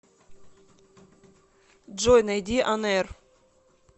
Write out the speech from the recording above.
джой найди онэир